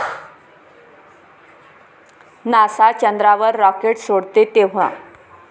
NASA चंद्रावर rocket सोडते तेंव्हा